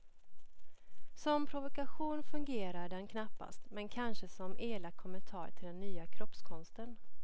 Som provokation fungerar den knappast, men kanske som elak kommentar till den nya kroppskonsten.